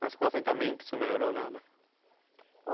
Mas com o assentamento isso não melhorou nada?